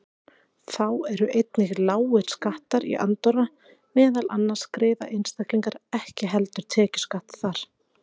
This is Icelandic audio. Þá eru einnig lágir skattar í Andorra, meðal annars greiða einstaklingar ekki heldur tekjuskatt þar.